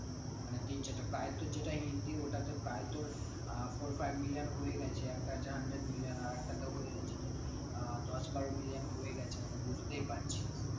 মানে তিন চারটা প্রায় তোর যেটা হিন্দি ওটাতে প্রায় তোর আহ four five million হয়ে গেছে আহ দশ বারো million হয়ে গেছে অনেক বুঝতেই পারছিস